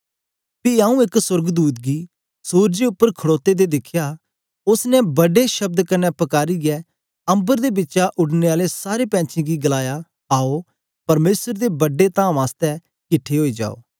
पी आऊँ एक सोर्गदूत गी सुरजे उपर खड़ोते दे दिखया उस्स ने बड्डे शब्द कन्ने पकारीयै अम्बर दे बिचा उडने आले सारें पैंछीयें गी गलाया आओ परमेसर दे बड्डे तामें आसतै किट्ठे ओई जाओ